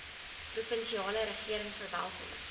provinsiale regering verwelkom